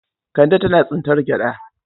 Kande tana tsintar gyaɗa.